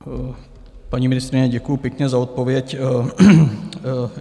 Paní ministryně, děkuji pěkně za odpověď.